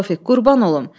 Tofiq, qurban olum.